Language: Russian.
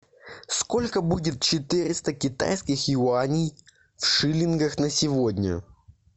сколько будет четыреста китайских юаней в шиллингах на сегодня